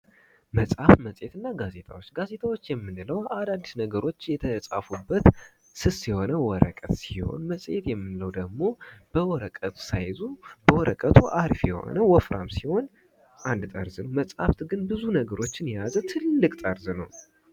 መፅሀፍ፣ መፅሕት እና ጋዜጣዎች:- ጋዜጣዎች የምንለዉ አዳዲስ ነገሮች የተፃፉበት ስስ የሆነ ወረቀት ሲሆን መፅሔት የምንለዉ ደግሞ በወረቀት ሳይዙ በወረቀቱ አሪፍ የሆነ ወፍራም ሲሆን አንድ ጠርዝ ነዉ። መፅሀፍ ግን ትልቅ ጠርዝ ነዉ።